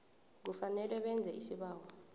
kufanele benze isibawo